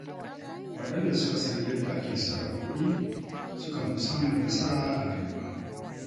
Waɗanda suka san yadda ake sarrafa kuɗi sukan fi samun nasara a rayuwa.